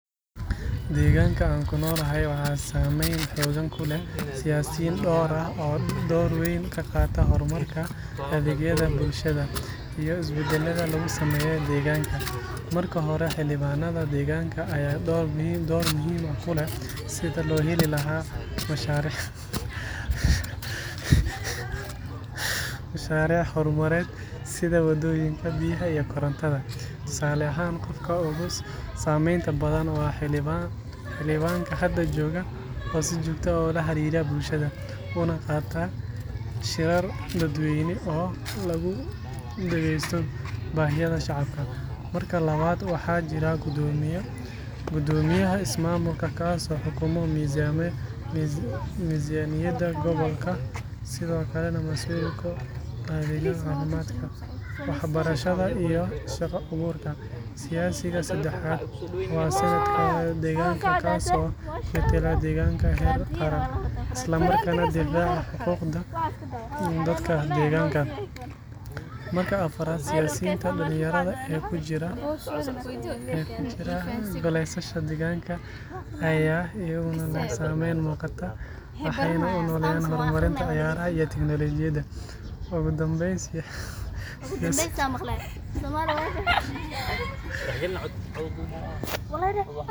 Deegaanka aan ku noolahay waxaa saamayn xooggan ku leh siyaasiyiin dhowr ah oo door weyn ka qaata horumarka, adeegyada bulshada, iyo isbeddelada lagu sameeyo deegaanka. Marka hore, xildhibaanada deegaanka ayaa door muhiim ah ku leh sidii loo heli lahaa mashaariic horumarineed sida waddooyinka, biyaha iyo korontada. Tusaale ahaan, qofka ugu saamaynta badan waa xildhibaanka hadda jooga oo si joogto ah ula xiriira bulshada, una qabta shirar dadweyne oo lagu dhegeysto baahiyaha shacabka. Marka labaad, waxaa jira guddoomiyaha ismaamulka kaas oo xukuma miisaaniyadda gobolka, sidoo kalena mas’uul ka ah adeegyada caafimaadka, waxbarashada iyo shaqo abuurka. Siyaasiga saddexaad waa senator-ka deegaanka kaas oo metela deegaanka heer qaran, isla markaana difaaca xuquuqda dadka deegaanka. Marka afraad, siyaasiyiinta dhallinyarada ee ku jira goleyaasha deegaanka ayaa iyaguna leh saamayn muuqata, waxayna u ololeeyaan horumarinta ciyaaraha iyo tiknoolajiyadda. Ugu dambeyn, siyaasiyiin hore oo weli bulshada dhexdeeda sumcad ku leh ayaa door muuqda ku leh hagista talooyinka iyo go’aanada muhiimka ah.